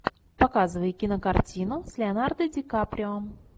показывай кинокартину с леонардо дикаприо